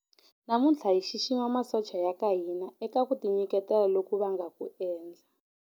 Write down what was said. Namuntlha hi xixima masocha ya ka hina eka ku tinyiketela loku va nga ku endla.